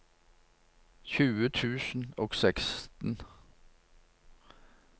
tjue tusen og seksten